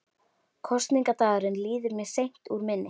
Kosningadagurinn líður mér seint úr minni.